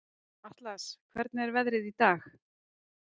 Atlas, hvernig er veðrið í dag?